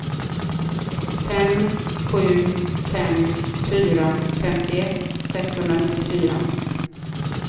fem sju fem fyra femtioett sexhundranittiofyra